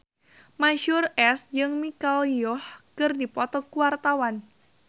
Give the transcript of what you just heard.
Mansyur S jeung Michelle Yeoh keur dipoto ku wartawan